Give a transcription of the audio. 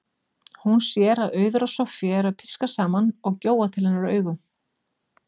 Hún sér að Auður og Soffía eru að pískra saman og gjóa til hennar augunum.